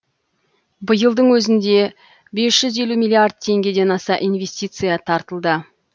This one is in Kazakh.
биылдың өзінде бес жүз елу миллиард теңгеден аса инвестиция тартылды